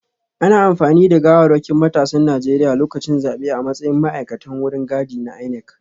Ana amfani da gawarwakin matasan Najeriya lokacin zabe a matsayin ma’aikatan wucin gadi na INEC